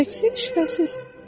Şübhəsiz.